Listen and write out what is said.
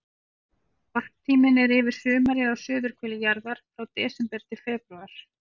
Varptíminn er yfir sumarið á suðurhveli jarðar, frá desember til febrúar.